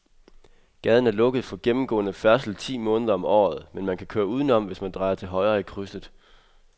Gaden er lukket for gennemgående færdsel ti måneder om året, men man kan køre udenom, hvis man drejer til højre i krydset.